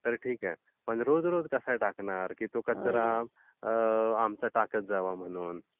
तर ठीक आहे पण रोज रोज कसा टाकणार. की तो कचरा आमचा ताकत जा म्हणून.